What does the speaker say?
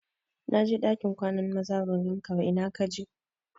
Na je ɗakin kwanan maza ban gan ka ba ina ka je?